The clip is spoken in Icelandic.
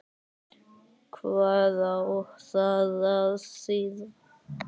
Hvað á það að þýða?